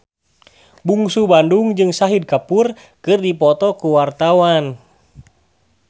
Bungsu Bandung jeung Shahid Kapoor keur dipoto ku wartawan